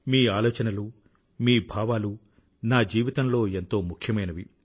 మీ ఆలోచనలు మీ భావాలు నా జీవితంలో ఎంతో ముఖ్యమైనవి